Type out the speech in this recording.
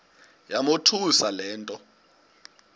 yamothusa le nto